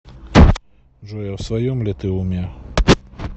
джой а в своем ли ты уме